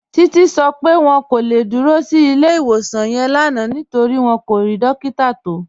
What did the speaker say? Títí sọ pé wọn kò le dúró sí ilẹ̀-iwosan yẹn lánà nítorí wọn kò ni dòkítà tó